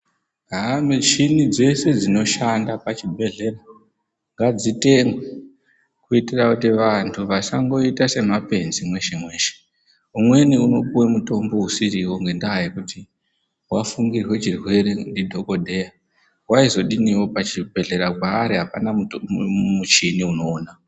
Mushini dzeshe dzinoshanda pachibhehleya ngadzitengwe kuitira kuti vantu vasangoita semapenzi mweshe mweshe. Umweni unopuwe mutombo usiriwo ngenda yekuti wafungirwa chirwere ndidhokodheya. Waizodiniwo pachibhehleya paari apana muchini inoona.